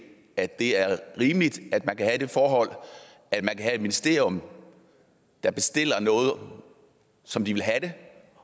at det er rimeligt at man kan have det forhold at man kan have et ministerium der bestiller noget som de vil have det